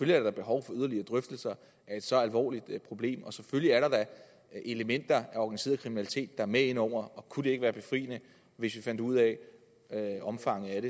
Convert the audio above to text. der da behov for yderligere drøftelser af et så alvorligt problem og selvfølgelig er der da elementer af organiseret kriminalitet er med ind over kunne det ikke være befriende hvis vi fandt ud af omfanget af